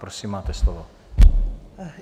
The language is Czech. Prosím, máte slovo.